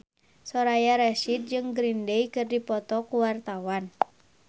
Soraya Rasyid jeung Green Day keur dipoto ku wartawan